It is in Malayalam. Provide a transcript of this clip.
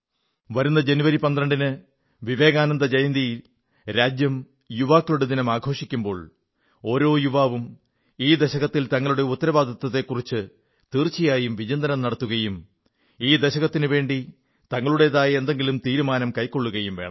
വരുന്ന ജനുവരി 12 ന് വിവേകാനന്ദ ജയന്തിയിൽ രാജ്യം യുവാക്കളുടെ ദിനം ആഘോഷിക്കുമ്പോൾ ഓരോ യുവാവും ഈ ദശകത്തിൽ തങ്ങളുടെ ഈ ഉത്തരവാദിത്തത്തെക്കുറിച്ച് തീർച്ചയായും വിചിന്തനം നടത്തുകയും ഈ ദശകത്തിനുവേണ്ടി തങ്ങളുടേതായ എന്തെങ്കിലും തീരുമാനം കൈക്കൊള്ളുകയും വേണം